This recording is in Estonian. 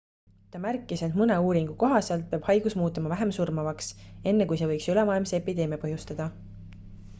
ta märkis et mõne uuringu kohaselt peab haigus muutuma vähem surmavaks enne kui see võiks ülemaailmse epideemia põhjustada